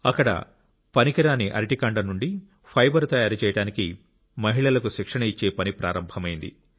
అక్కడ పనికిరాని అరటి కాండం నుండి ఫైబర్ తయారు చేయడానికి మహిళలకు శిక్షణ ఇచ్చే పని ప్రారంభమైంది